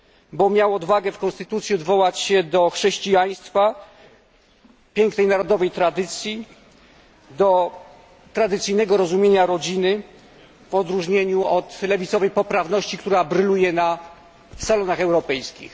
bo miał odwagę w konstytucji odwołać się do chrześcijaństwa, pięknej narodowej tradycji, do tradycyjnego rozumienia rodziny w odróżnieniu od lewicowej poprawności, która bryluje na salonach europejskich.